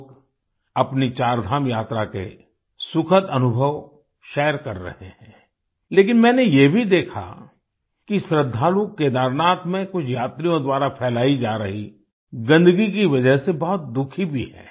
लोग अपनी चारधाम यात्रा के सुखद अनुभव शेयर कर रहे हैं लेकिन मैंने ये भी देखा कि श्रद्धालु केदारनाथ में कुछ यात्रियों द्वारा फैलाई जा रही गन्दगी की वजह से बहुत दुखी भी हैं